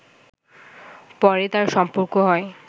পরে তার সম্পর্ক হয়